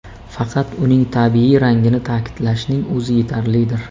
Faqat uning tabiiy rangini ta’kidlashning o‘zi yetarlidir.